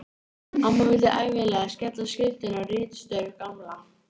Amma vildi ævinlega skella skuldinni á ritstörf Gamla.